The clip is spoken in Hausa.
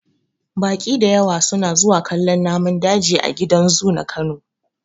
Baƙi dayawa su na zuwa kallon namun daji a gidan zu na kano.